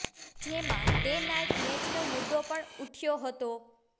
જેમાં day night મેચનો મુદ્દો પણ ઉઠ્યો હતો